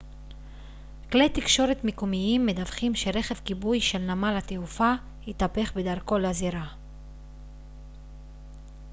כלי תקשורת מקומיים מדווחים שרכב כיבוי של נמל התעופה התהפך בדרכו לזירה